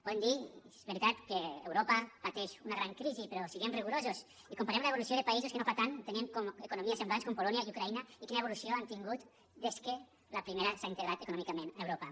podem dir és veritat que europa pateix una gran crisi però siguem rigorosos i comparem l’evolució de països que no fa tant tenien economies semblants com polònia i ucraïna i quina evolució han tingut des que la primera s’ha integrat econòmicament a europa